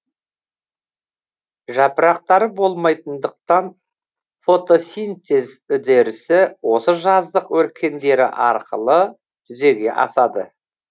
жапырақтары болмайтындықтан фотосинтез үдерісі осы жаздық өркендері арқылы жүзеге асады